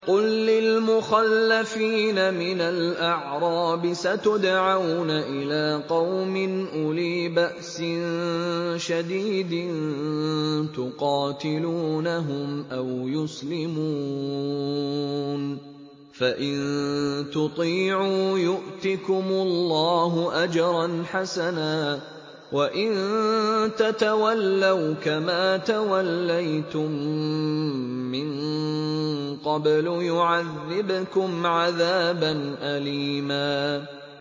قُل لِّلْمُخَلَّفِينَ مِنَ الْأَعْرَابِ سَتُدْعَوْنَ إِلَىٰ قَوْمٍ أُولِي بَأْسٍ شَدِيدٍ تُقَاتِلُونَهُمْ أَوْ يُسْلِمُونَ ۖ فَإِن تُطِيعُوا يُؤْتِكُمُ اللَّهُ أَجْرًا حَسَنًا ۖ وَإِن تَتَوَلَّوْا كَمَا تَوَلَّيْتُم مِّن قَبْلُ يُعَذِّبْكُمْ عَذَابًا أَلِيمًا